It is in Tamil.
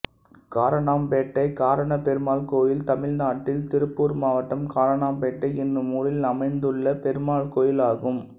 காரணம்பேட்டை காரணப்பெருமாள் கோயில் தமிழ்நாட்டில் திருப்பூர் மாவட்டம் காரணம்பேட்டை என்னும் ஊரில் அமைந்துள்ள பெருமாள் கோயிலாகும்